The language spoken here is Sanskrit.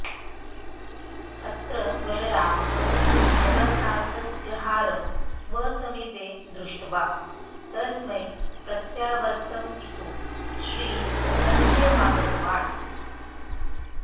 अत्र बलरामः जगन्नाथस्य हारं स्व समीपे दृष्ट्वा तस्मै प्रत्यावर्त्तयितुं श्रीमन्दिरमागतवान्